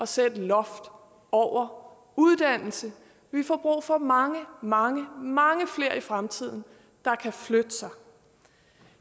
sætte loft over uddannelse vi får brug for mange mange flere i fremtiden der kan flytte sig